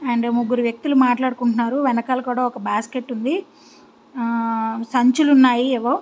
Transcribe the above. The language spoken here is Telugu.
అండ్ ముగ్గురు వ్యక్తులు మాట్లాడుకుంటున్నారు. వెనకల కూడా ఒక బాస్కెట్ ఉన్నది. సంచులు ఉన్నాయి ఏవో.